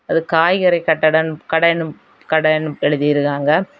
அது காய்கறி கட்டடன் கடென்னு கடென்னு எழுதிருக்காங்க.